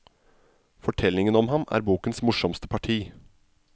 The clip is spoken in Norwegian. Fortellingen om ham er bokens morsomste parti.